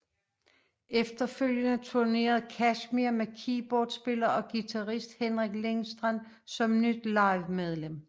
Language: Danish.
Efterfølgende turnerede Kashmir med keyboardspiller og guitarist Henrik Lindstrand som nyt livemedlem